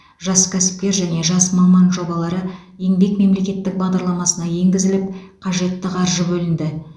жас кәсіпкер және жас маман жобалары еңбек мемлекеттік бағдарламасына енгізіліп қажетті қаржы бөлінді